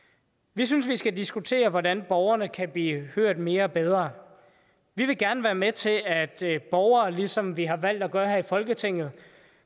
vi synes vi skal diskutere hvordan borgerne kan blive hørt mere og bedre vi vil gerne være med til at borgere ligesom vi har valgt at gøre her i folketinget